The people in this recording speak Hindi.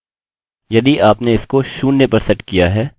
यह हर एरर errorरिपोर्टिंग को बंद कर देगा